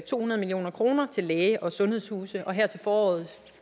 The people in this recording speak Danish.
to hundrede million kroner til læge og sundhedshuse og her til foråret